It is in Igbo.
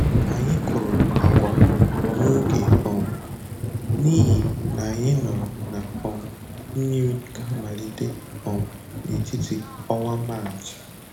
Anyị kụrụ agwa n'oge um n'ihi na anyị nụrụ na um mmiri ga-amalite um n'etiti ọnwa Maachị.